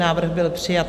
Návrh byl přijat.